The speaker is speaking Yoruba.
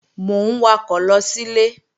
Mò ń wakọ̀ lọ sílé